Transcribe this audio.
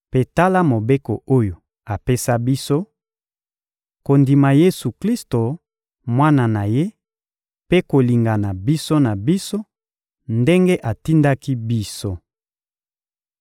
Mpe tala mobeko oyo apesa biso: kondima Yesu-Klisto, Mwana na Ye, mpe kolingana biso na biso, ndenge atindaki biso.